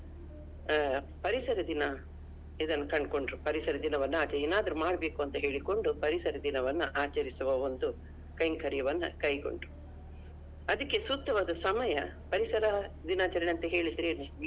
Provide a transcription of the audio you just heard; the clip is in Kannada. ಆ ಪರಿಸರ ದಿನ ಇದನ್ನ ಕಂಡ್ಕೊಂಡ್ರು ಪರಿಸರ ದಿನವನ್ನ ಆಚ~ ಏನಾದ್ರು ಮಾಡ್ಬೇಕಂದ್ ಹೇಳಿಕೊಂಡು ಪರಿಸರ ದಿನವನ್ನಾ ಆಚರಿಸುವ ಒಂದು ಕೈಂಕರ್ಯವನ್ನು ಕೈಗೊಂಡರು. ಅದಕ್ಕೆ ಸೂಕ್ತವಾದ ಸಮಯ ಪರಿಸರ ದಿನಾಚರಣೆ ಅಂದ್ರೆ ಏನು?